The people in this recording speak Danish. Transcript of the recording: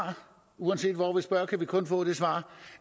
uanset hvor vi spørger kan vi kun få det svar